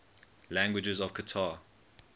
languages of qatar